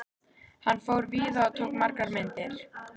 Hann fór víða og tók margar myndir.